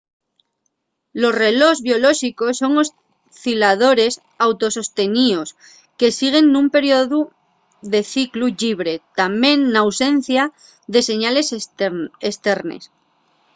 los relós biolóxicos son osciladores auto-sosteníos que siguen nun periodu de ciclu llibre tamién n’ausencia de señales esternes